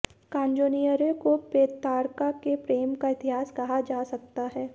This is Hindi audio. कांजोनिएरे को पेत्रार्का के प्रेम का इतिहास कहा जा सकता है